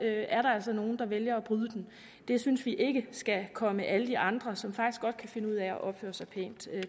er der altså nogle der vælger at bryde den det synes vi ikke skal komme alle de andre som faktisk godt kan finde ud af at opføre sig pænt